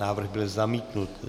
Návrh byl zamítnut.